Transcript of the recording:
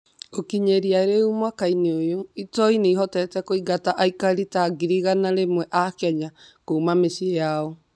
Gũkinyĩria rĩu, mwaka-inĩ ũyũ, njangiri nĩ ihotete kũingata aikari ta ngiri igana rimwe a Kenya kuuma mĩciĩ yao.